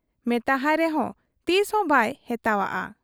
ᱢᱮᱛᱟᱦᱟᱭ ᱨᱮᱦᱚᱸ ᱛᱤᱥᱦᱚᱸ ᱵᱟᱭ ᱦᱮᱛᱟᱦᱟᱜ ᱟ ᱾